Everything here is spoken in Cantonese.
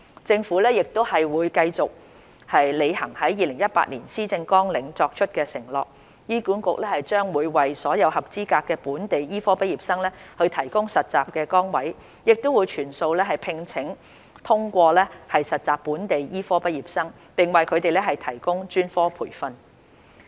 政府會繼續履行在2018年施政綱領所作出的承諾。醫管局將會為所有合資格的本地醫科畢業生提供實習崗位，亦會全數聘請通過實習的本地醫科畢業生，並為他們提供專科培訓。